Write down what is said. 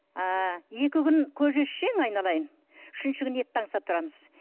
ы екі күн көже ішсең айналайын үшінші күні етті аңсап тұрамыз